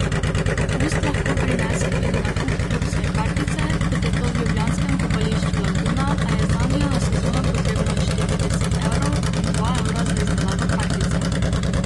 Popust lahko prinese tudi nakup klubske kartice, kot je to v ljubljanskem Kopališču Laguna, a je zanjo na sezono potrebno odšteti deset evrov in dva evra za izdelavo kartice.